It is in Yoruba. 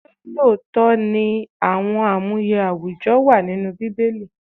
Ṣé lóòótọ́ ni àwọn amuye àwùjọ wà nínú Bíbélì?